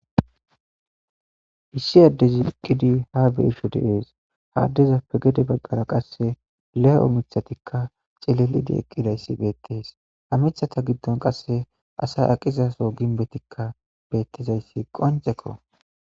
issi addezi iqqidi ha beisho deees haaddezappegede baggara qasse le'o mithatikka cilelidi eqqidayssi beettes ha mithata giddon qasse asay aqizaso ginbetikka beettizayssi qoncekko